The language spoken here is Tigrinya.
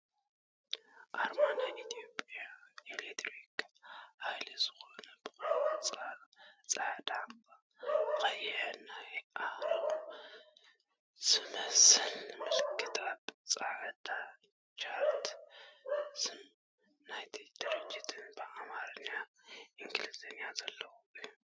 ኣርማ ናይ ኢትዮጽያ ኤሌክትሪክ ሃይል ዝኮነ ብ ቆፃል፣ ፃዕዳ፣ ቀይሕን ናይ ኣረው ዝመሰል ምልክት ኣብ ፃዕዳ ቻርት ስም ናይቲ ድርጅት ብ ኣማርኛን ኢንግሊዝን ዘለዎ እዩ።